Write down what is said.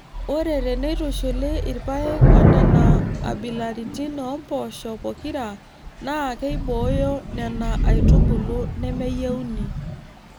Ore teneitushuli irpaek onena abilaritin oompoosho pokira naa keibooyo Nena aitubulu nemeyieuni.